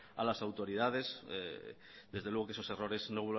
a las autoridades desde luego que esos errores no